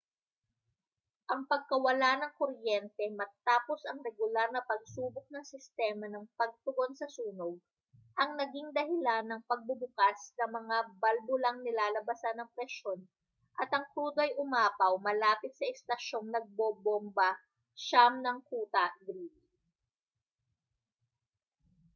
ang pagkawala ng kuryente matapos ang regular na pagsubok ng sistema ng pagtugon sa sunog ang naging dahilan ng pagbubukas ng mga balbulang nilalabasan ng presyon at ang krudo ay umapaw malapit sa istasyong nagbobomba 9 ng kuta greely